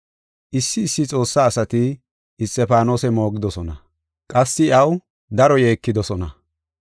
Issi issi Xoossa asati Isxifaanose moogidosona; qassi iyaw daro yeekidosona.